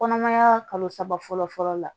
Kɔnɔmaya kalo saba fɔlɔ fɔlɔ la